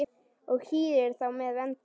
og hýðir þá með vendi.